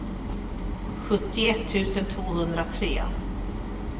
sjuttioett tusen tvåhundratre